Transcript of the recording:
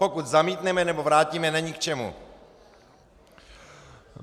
Pokud zamítneme nebo vrátíme, není k čemu.